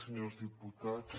senyors diputats